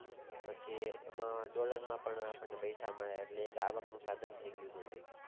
પછી dollar માં પણ આપણને પૈસા મળે એટલે આવકનું સાધન થય ગયું ગણાય